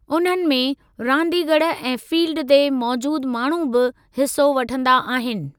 उन्हनि में, रांदीगर ऐं फ़ील्ड ते मौजूदु माण्हू बि हिसो वठंदा आहिनि।